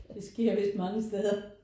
Det sker vist mange steder